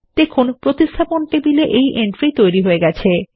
দেখুন replacement table entry তৈরি হয়ে গেছে